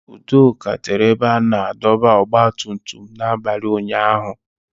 Udoka tere ebe a na-adọba ọgba tum tum n'abalị ụnyaahụ